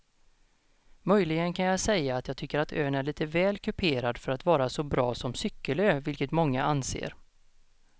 Möjligen kan jag säga att jag tycker att ön är lite väl kuperad för att vara så bra som cykelö vilket många anser.